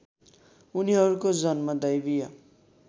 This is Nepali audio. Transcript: उनीहरूको जन्म दैवीय